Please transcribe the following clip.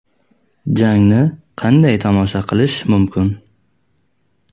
Jangni qanday tomosha qilish mumkin?.